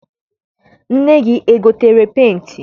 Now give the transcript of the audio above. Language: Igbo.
nne gị egotere penti?